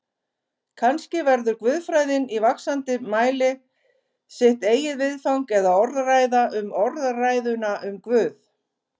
Kannski verður guðfræðin í vaxandi mæli sitt eigið viðfang eða orðræða um orðræðuna um Guð.